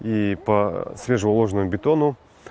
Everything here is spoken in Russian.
и свежий уложенного бетона